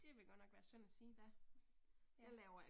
Det ville godt nok være synd at sige. Ja